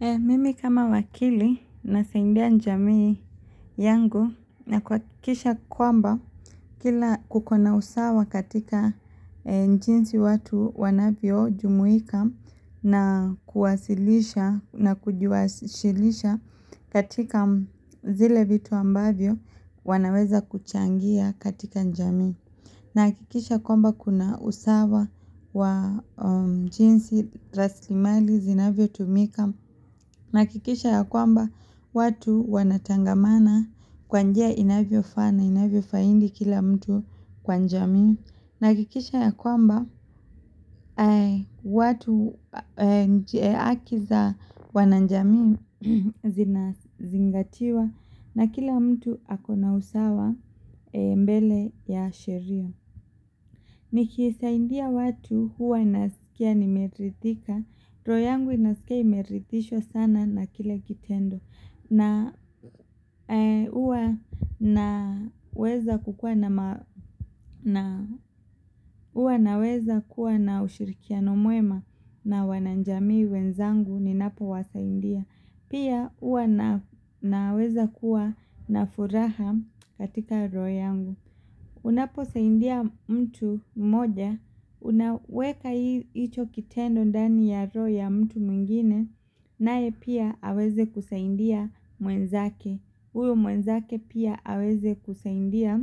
Mimi kama wakili nasaidia jamii yangu na kuhakikisha kwamba kila kukona usawa katika jinsi watu wanavyojumuika na kujiwasilisha katika zile vitu ambavyo wanaweza kuchangia katika jamii. Nahakikisha kwamba kuna usawa wa jinsi rasilimali zinavyotumika. Nahakikisha ya kwamba watu wanatangamana kwa njia inavyofaa na inavyofaidi kila mtu kwa jamii. Nahakikisha ya kwamba watu haki za wanajamii zinazingatiwa na kila mtu akona usawa mbele ya sheria. Nikisaidia watu huwa nasikia nimeridhika, roho yangu inasikia imeridhishwa sana na kile kitendo. Na huwa naweza kuwa na ushirikiano mwema na wanajamii wenzangu ninapowasaidia. Pia huwa naweza kuwa na furaha katika roho yangu. Unaposaidia mtu mmoja, unaweka hicho kitendo ndani ya roho ya mtu mwingine, naye pia aweze kusaidia mwenzake, huyu mwenzake pia aweze kusaidia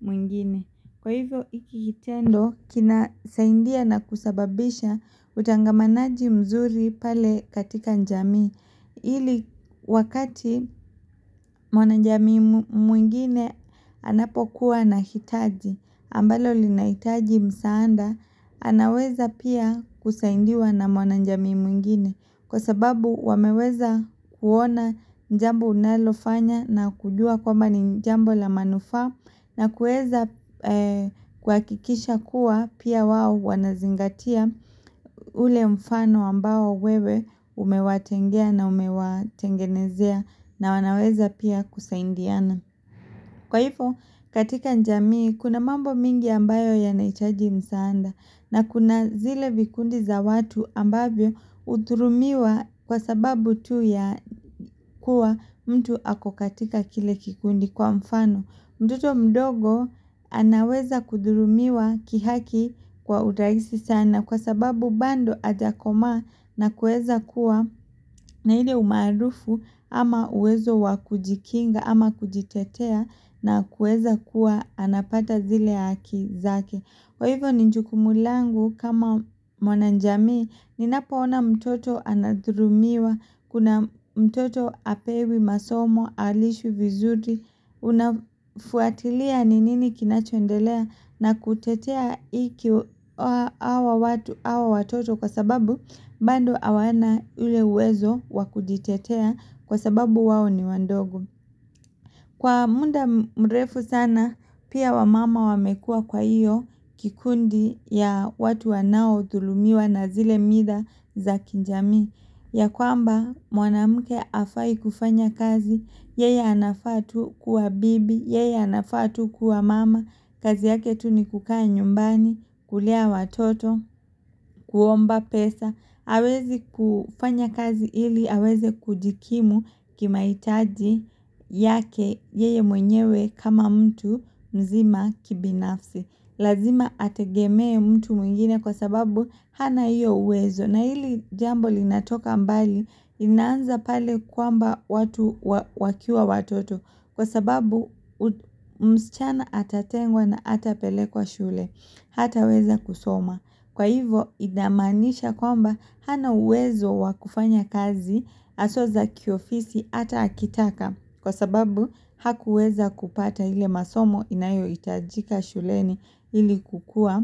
mwingine. Kwa hivyo hiki kitendo kinasaidia na kusababisha utangamanaji mzuri pale katika jamii ili wakati mwanajamii mwingine anapokuwa ana hitaji ambalo linahitaji msaada anaweza pia kusaidiwa na mwanajamii mwingine Kwa sababu wameweza kuona jambo unalofanya na kujua kwamba ni jambo la manufaa na kuweza kuhakikisha kuwa pia wao wanazingatia ule mfano ambao wewe umewatengea na umewatengenezea na wanaweza pia kusaidiana. Kwa hivyo katika jamii kuna mambo mingi ambayo yanahitaji msaada na kuna zile vikundi za watu ambavyo hudhulumiwa kwa sababu tu ya kuwa mtu ako katika kile kikundi kwa mfano. Mtoto mdogo anaweza kudhulumiwa kihaki kwa urahisi sana kwa sababu bado hajakomaa na kuweza kuwa na ile umaarufu ama uwezo wa kujikinga ama kujitetea na kuweza kuwa anapata zile haki zake. Kwa hivyo ni jukumu langu kama mwanajamii ninapoona mtoto anadhulumiwa kuna mtoto hapewi masomo halishwi vizuri unafuatilia ni nini kinachoendelea na kutetea iki hawa watu hawa watoto kwa sababu bado hawana ule uwezo wa kujitetea kwa sababu wao ni wadogo. Kwa muda mrefu sana pia wamama wamekua kwa hiyo kikundi ya watu wanaodhulumiwa na zile mila za kijamii ya kwamba mwanamke hafai kufanya kazi yeye anafaa tu kuwa bibi yeye anafaa tu kuwa mama kazi yake tu ni kukaa nyumbani kulea watoto kuomba pesa. Hawezi kufanya kazi ili aweze kujikimu kimahitaji yake yeye mwenyewe kama mtu mzima kibinafsi Lazima ategemee mtu mwingine kwa sababu hana hiyo uwezo na hili jambo linatoka mbali inaanza pale kwamba watu wakiwa watoto Kwa sababu msichana atatengwa na hatapelekwa shule Hataweza kusoma Kwa hivyo inamaanisha kwamba hana uwezo wa kufanya kazi hawsa za kiofisi ata akitaka kwa sababu hakuweza kupata ile masomo inayohitajika shuleni ili kukuwa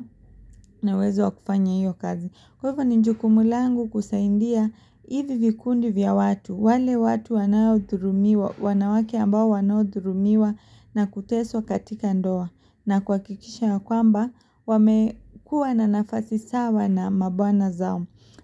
na uwezo wa kufanya hiyo kazi. Kwa hivyo ni jukumu langu kusaidia hivi vikundi vya watu, wale watu wanaodhulumiwa wanawake ambao wanodhulumiwa na kuteswa katika ndoa na kuhakikisha ya kwamba wamekuwa na nafasi sawa na mabwana zao.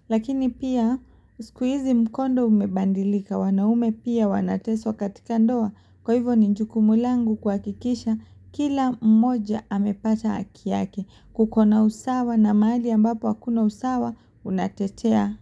Lakini pia siku hizi mkondo umebadilika wanaume pia wanateswa katika ndoa kwa hivyo ni jukumu langu kuhakikisha kila mmoja amepata haki yake kuko na usawa na mahali ambapo hakuna usawa unatetea.